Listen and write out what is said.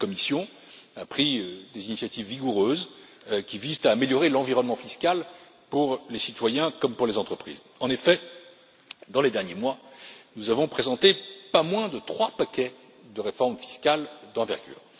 La Commission a pris des initiatives vigoureuses qui visent à améliorer l'environnement fiscal pour les citoyens comme pour les entreprises. En effet, dans les derniers mois, nous avons présenté pas moins de trois paquets de réformes fiscales d'envergure.